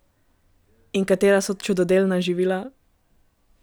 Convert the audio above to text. In katera so čudodelna živila?